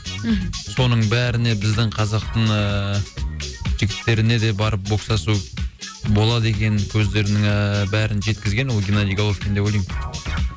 мхм соның бәріне біздің қазақтың ыыы жігіттеріне де барып бокстасу болады екенін көздерінің ыыы бәрін жеткізген ол геннадий головкин деп ойлаймын